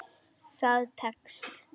Það tekst.